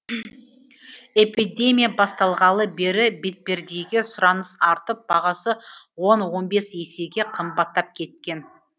эпидемия басталғалы бері бетпердеге сұраныс артып бағасы он он бес есеге қымбаттап кеткен